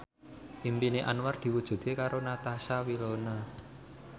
impine Anwar diwujudke karo Natasha Wilona